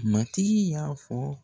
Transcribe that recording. Matigi y'a fɔ